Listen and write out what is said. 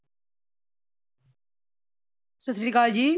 ਸਤਿ ਸ਼੍ਰੀ ਅਕਾਲ ਜੀ